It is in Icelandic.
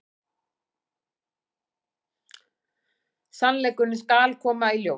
Sannleikurinn skal koma í ljós.